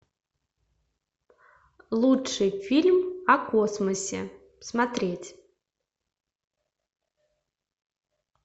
лучший фильм о космосе смотреть